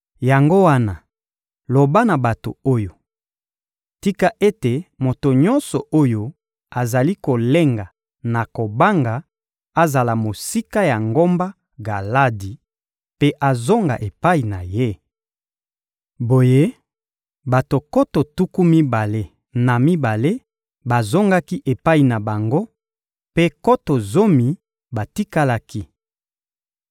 Yango wana, loba na bato oyo: ‹Tika ete moto nyonso oyo azali kolenga na kobanga azala mosika ya ngomba Galadi mpe azonga epai na ye.›» Boye, bato nkoto tuku mibale na mibale bazongaki epai na bango mpe nkoto zomi batikalaki.